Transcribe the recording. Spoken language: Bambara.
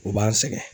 U b'an sɛgɛn